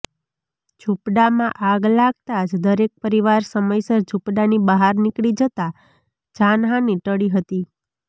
ઝુંપડામાં આગ લાગતા જ દરેક પરિવાર સમયસર ઝૂંપડાની બહાર નીકળી જતા જાનહાનિ ટળી હતી